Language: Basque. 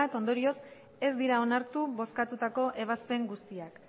ondorioz ez dira onartu bozkatutako ebazpen guztiak